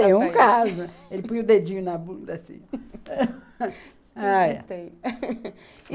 Ele põe o dedinho na bunda, assim.